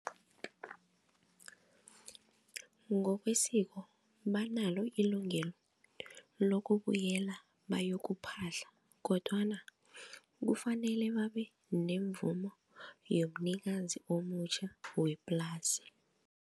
Ngokwesiko banalo ilungele lokubuyela bayokuphahla kodwana kufanele babe nemvumo yomnikazi omutjha weplasi.